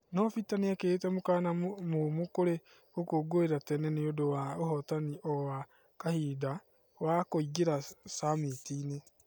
No peter nĩekerĩte mũkanya mũmu kũri gũkũngũira tene niũndu wa ũhotani o wa kahinda wa kũingĩra summit-ĩnĩ